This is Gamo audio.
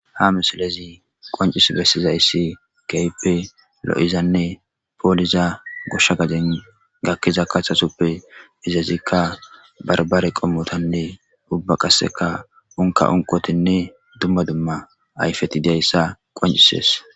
Haa misilezzi qoncciss besizayiss kehippe lo'izanne poliza goshsha gadenni gakizza kaththa sooppe izzettikka baribare qommottinne dumma dumma unikkotti dizayissa qonccisses.